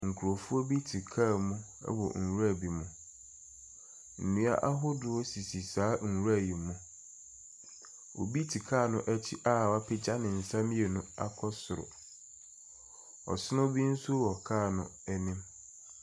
Nkurɔfoɔ bi te kaa mu wɔ nwura bi mu. Nnua ahodoɔ sisi saa nwura yi mu. Obi te kaa no akyi a wapagya ne nsa mmienu akɔ soro. Ɔsono bi nso wɔ kaa no anim.